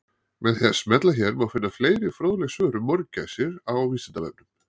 Með því að smella hér má finna fleiri fróðleg svör um mörgæsir á Vísindavefnum.